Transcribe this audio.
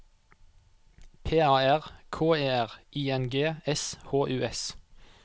P A R K E R I N G S H U S